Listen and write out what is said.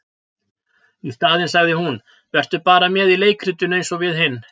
Í staðinn sagði hún:- Vertu bara með í leikritinu eins og við hin.